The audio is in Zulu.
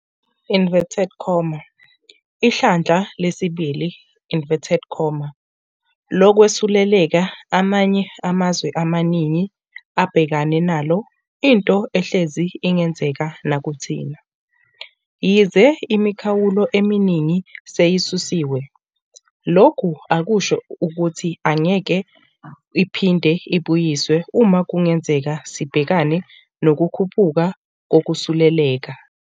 'Ihlandla lesibili' lokwesuleleka amanye amazwe amaningi abhekene nalo into ehlezi ingenzeka nakuthina. Yize imikhawulo eminingi seyisusiwe, lokhu akusho ukuthi ngeke iphinde ibuyiswe uma kungenzeka sibhekane nokukhuphuka kokusuleleka.